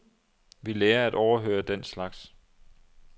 Vi lærer at overhøre den slags.